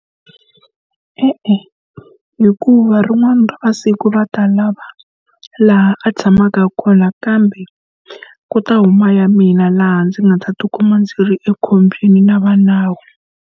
E-e, hikuva rin'wana ra masiku va ta lava laha a tshamaka kona kambe ku ta huma ya mina laha ndzi nga ta ti kuma ndzi ri ekhombyeni na va nawu.